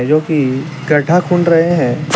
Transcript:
जोकि गड्ढा गोद रहे हैं।